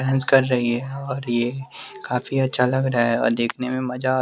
dance कर रही और ये काफी अच्छा लग रहा है और देखने में मजा आ--